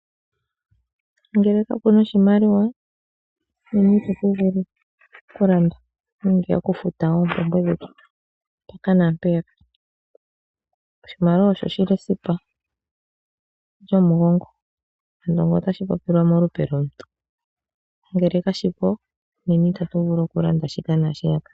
Ngele ka puna oshimaliwa nena ita tu vulu oku landa nenge oku futa oompumbwe dhetu mpaka naampeyaka. Oshimaliwa osho shili esipa lyomugongo ngele otashi popilwa molupe lomuntu. Ngele ka shi po nena ita tu vulu oku landa shika naashi yaka.